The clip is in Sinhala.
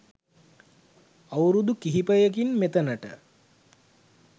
අවුරුදු කිහිපයකින් මෙතනට